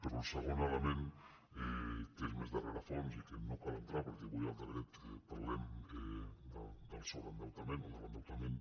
però el segon element que és més de rerefons i que no cal entrar·hi perquè avui al decret parlem del so·breendeutament o de l’endeutament